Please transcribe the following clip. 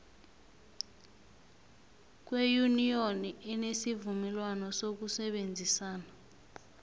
weyuniyoni enesivumelwana sokusebenzisana